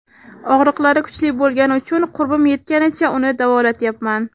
Og‘riqlari kuchli bo‘lgani uchun qurbim yetganicha uni davolatyapman.